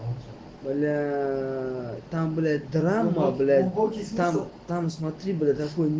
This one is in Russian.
бля там блять драма блять пакистан там смотри бля такой